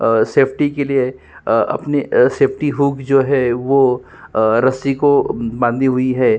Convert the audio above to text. अ safety के लिए अ अपनी सेफ्टी हुक जो है वो अ रस्सी को बंधी हुई है।